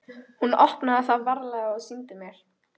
Hún opnaði það varlega og sýndi mér.